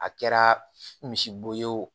A kɛra misibo ye o